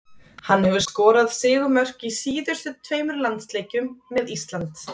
Hann hefur skorað sigurmörk í síðustu tveimur landsleikjum með Ísland.